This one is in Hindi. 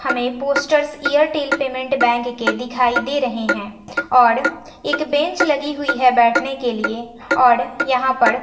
हमें पोस्टर्स एयरटेल पेमेंट बैंक के दिखाई दे रहे हैं और एक बेंच लगी हुई है बैठने के लिए और यहां पर--